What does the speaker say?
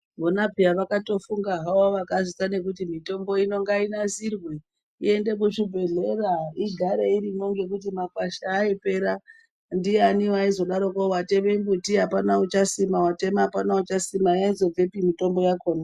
Vona pheya vakatofunga havo vakazviita kuti mitombo ino ngainasirwe iende kuzvibhedlera igare iriyo ngekuti makwasha aipera, ndiyani waizodaroko watema mumbuti apana uchasima watema apana uchasima yaizobvepi mitombo yakhona.